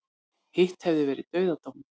Hitt hefði verið dauðadómur